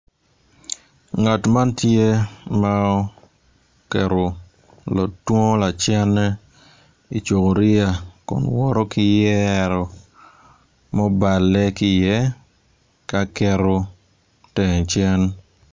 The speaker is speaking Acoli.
Ngat man tye ma oketo otwongo lacenne i cuboria kun woto ki yero mubale ki iye ka keto tenge cen.